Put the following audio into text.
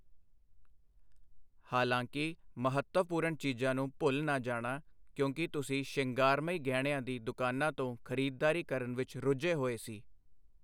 ਹਾਲਾਂਕਿ, ਮਹੱਤਵਪੂਰਨ ਚੀਜ਼ਾਂ ਨੂੰ ਭੁੱਲ ਨਾ ਜਾਣਾ ਕਿਉਂਕਿ ਤੁਸੀਂ ਸ਼ਿੰਗਾਰਮਈ ਗਹਿਣਿਆਂ ਦੀ ਦੁਕਾਨਾਂ ਤੋਂ ਖਰੀਦਦਾਰੀ ਕਰਨ ਵਿੱਚ ਰੁੱਝੇ ਹੋਏ ਸੀ।